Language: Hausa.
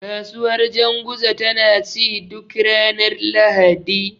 Kasuwar janguza tana ci duk ranar Lahadi.